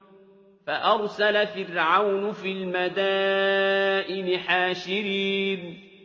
فَأَرْسَلَ فِرْعَوْنُ فِي الْمَدَائِنِ حَاشِرِينَ